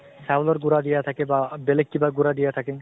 চাউলৰ গুৰা দিয়া থাকে বা বেলেগ কিবা গুৰা দিয়া থাকে ।